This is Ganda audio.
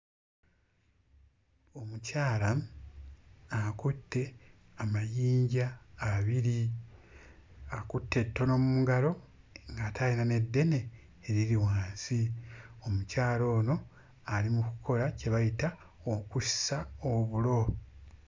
Omukyala akutte amayinja abiri. Akutte ettono mu ngalo ng'ate ayina n'eddene eriri wansi. Omukyala ono ali mu kukola kye bayita okussa obulo.